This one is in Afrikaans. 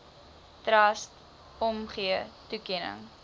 trust omgee toekenning